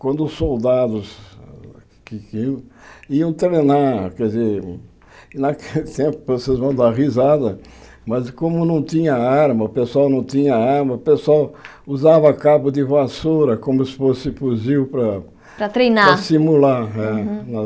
Quando os soldados iam treinar, quer dizer naquele tempo, vocês vão dar risada, mas como não tinha arma, o pessoal não tinha arma, o pessoal usava cabo de vassoura como se fosse fuzil para Para treinar simular.